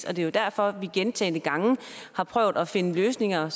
og det er derfor vi gentagne gange har prøvet at finde løsninger